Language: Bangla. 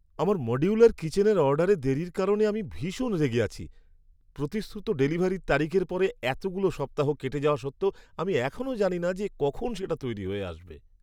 আমার মডিউলার কিচেনের অর্ডারে দেরির কারণে আমি ভীষণ রেগে আছি! প্রতিশ্রুত ডেলিভারি তারিখের পরে এতগুলো সপ্তাহ কেটে যাওয়া সত্ত্বেও আমি এখনও জানি না যে কখন সেটা তৈরি হয়ে আসবে।